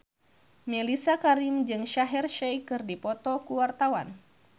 Mellisa Karim jeung Shaheer Sheikh keur dipoto ku wartawan